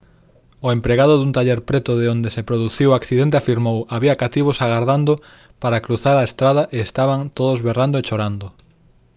o empregado dun taller preto de onde se produciu o accidente afirmou: «había cativos agardando para cruzar a estrada e estaban todos berrando e chorando»